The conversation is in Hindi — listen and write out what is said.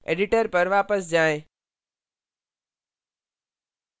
editor पर वापस जाएँ